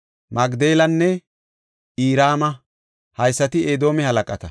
Magdelanne Irama. Haysati Edoome halaqata.